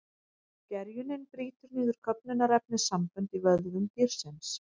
Gerjunin brýtur niður köfnunarefnissambönd í vöðvum dýrsins.